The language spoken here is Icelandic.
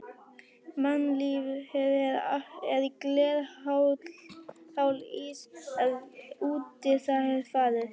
Mannlífið allt er glerháll ís, ef útí það er farið.